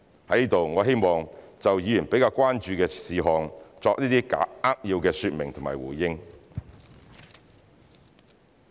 在此，我希望就議員比較關注的事項作出一些扼要說明和回應。